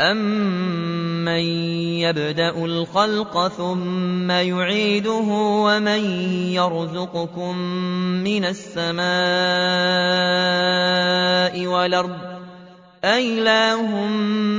أَمَّن يَبْدَأُ الْخَلْقَ ثُمَّ يُعِيدُهُ وَمَن يَرْزُقُكُم مِّنَ السَّمَاءِ وَالْأَرْضِ ۗ أَإِلَٰهٌ